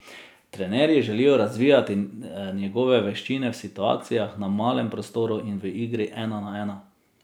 Trenerji želijo razvijati njegove veščine v situacijah na malem prostoru in v igri ena na ena.